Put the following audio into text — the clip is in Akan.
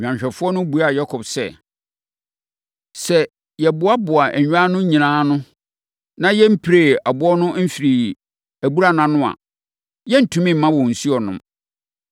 Nnwanhwɛfoɔ no buaa Yakob sɛ, “Sɛ yɛmmoaboaa nnwan no nyinaa ano, na yɛmpiree ɛboɔ no mfirii abura no ano a, yɛrentumi mma wɔn nsuo nnom.”